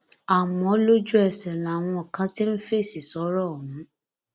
àmọ lójúẹsẹ làwọn kan ti ń fèsì sọrọ ọhún